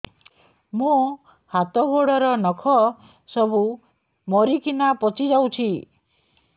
ମୋ ହାତ ଗୋଡର ନଖ ସବୁ ମରିକିନା ପଚି ଯାଉଛି